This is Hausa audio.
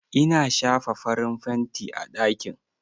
In shafa farin fanti a ɗakin?